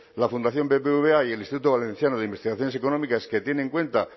la fundación bbva y el instituto valenciano de investigaciones económicas que tiene en cuenta